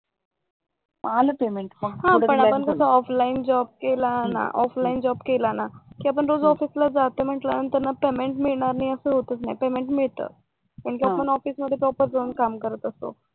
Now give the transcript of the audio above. आलं पेमेंट, हां पण आपण कसं ऑफलाईन जॉब केला ना त्याच आपण तिथं जातो ना तर त्याच पेमेंट मिळणार नाही असं होताच नाही पेमेंट मिळत म्हणजे आपण ऑफिस मध्ये प्रॉपर जाऊन काम करत असतो